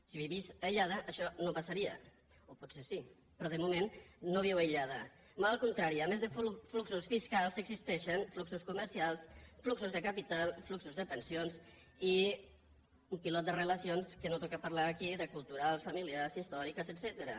si visqués aïllada això no passaria o potser sí però de moment no viu aïllada molt al contrari a més de fluxos fiscals existeixen fluxos comercials fluxos de capital fluxos de pensions i un pilot de relacions que no toca parlar ne aquí de culturals familiars històriques etcètera